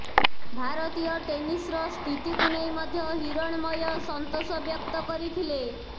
ଭାରତୀୟ ଟେନିସ୍ର ସ୍ଥିତିକୁ ନେଇ ମଧ୍ୟ ହିରଣ୍ମୟ ସନ୍ତୋଷ ବ୍ୟକ୍ତ କରିଥିଲେ